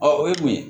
o ye mun ye